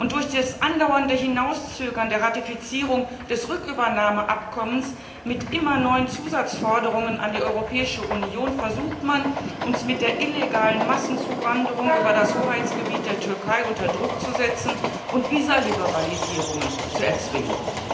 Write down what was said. Durch das andauernde Hinauszögern der Ratifizierung des Rückübernahmeabkommens mit immer neuen Zusatzforderungen an die Europäische Union versucht man, uns mit der illegalen Massenzuwanderung über das Hoheitsgebiet der Türkei unter Druck zu setzen und Visaliberalisierungen zu erzwingen.